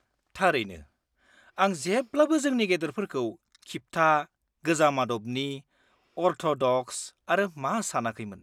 -थारैनो! आं जेब्लाबो जोंनि गेदेरफोरखौ खिबथा, गोजाम आदबनि, अरथ'दक्स आरो मा सानाखैमोन।